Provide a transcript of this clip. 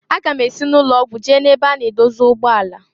Aga m esi n'ụlọ ọgwụ jee na ebe a na-edozi ụgbọ ala.